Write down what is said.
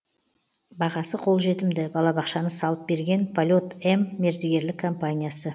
бағасы қолжетімді балабақшаны салып берген полет м мердігерлік компаниясы